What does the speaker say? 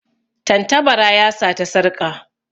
Tantabara ya sata sarƙa.